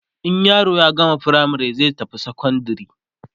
in yaro ya gama firamare zai tafi sekondari